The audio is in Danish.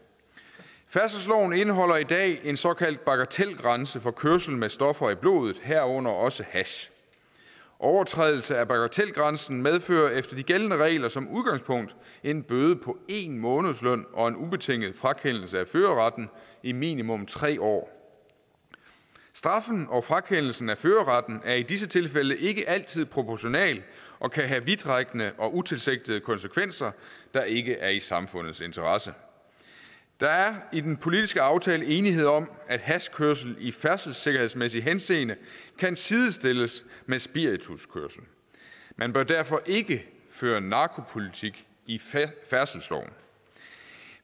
færdselsloven indeholder i dag en såkaldt bagatelgrænse for kørsel med stoffer i blodet herunder også hash overtrædelse af bagatelgrænsen medfører efter de gældende regler som udgangspunkt en bøde på en månedsløn og en ubetinget frakendelse af førerretten i minimum tre år straffen og frakendelsen af førerretten er i disse tilfælde ikke altid proportional og kan have vidtrækkende og utilsigtede konsekvenser der ikke er i samfundets interesse der er i den politiske aftale enighed om at hashkørsel i færdselssikkerhedsmæssig henseende kan sidestilles med spirituskørsel man bør derfor ikke føre narkopolitik i færdselsloven